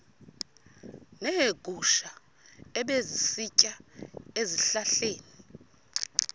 neegusha ebezisitya ezihlahleni